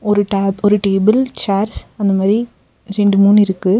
ஒரு டேப் table chairs அந்த மாரி ரெண்டு மூணு இருக்கு.